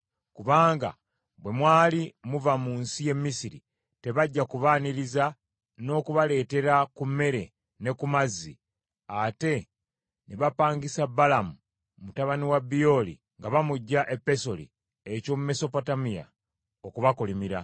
Kubanga bwe mwali muva mu nsi y’e Misiri, tebajja kubaaniriza n’okubaleetera ku mmere ne ku mazzi; ate ne bapangisa Balamu mutabani wa Byoli nga bamuggya e Pesoli eky’omu Mesopotamiya, okubakolimira.